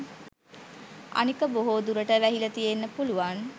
අනික බොහෝ දුරට වැහිල තියෙන්න පුළුවන්